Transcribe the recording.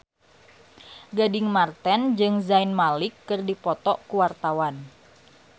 Gading Marten jeung Zayn Malik keur dipoto ku wartawan